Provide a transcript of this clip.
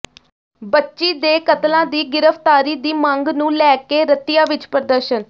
ਬੱਚੀ ਦੇ ਕਾਤਲਾਂ ਦੀ ਗ੍ਰਿਫ਼ਤਾਰੀ ਦੀ ਮੰਗ ਨੂੰ ਲੈ ਕੇ ਰਤੀਆ ਵਿੱਚ ਪ੍ਰਦਰਸ਼ਨ